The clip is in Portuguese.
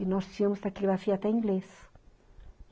E nós tínhamos taquigrafia até inglês.